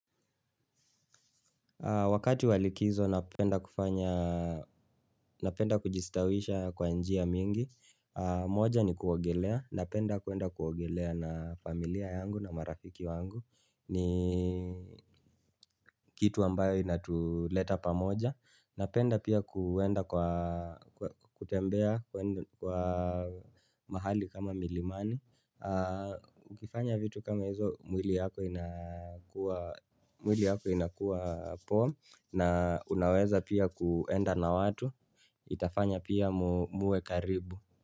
Wakati wa likizo napenda kujistawisha kwa njia mingi, moja ni kuogelea, napenda kuenda kuogelea na familia yangu na marafiki wangu, ni kitu ambayo inatuleta pamoja. Napenda pia kuenda kwa kutembea kwa mahali kama milimani Ukifanya vitu kama hizo mwili yako inakuwa poa na unaweza pia kuenda na watu itafanya pia muwe karibu.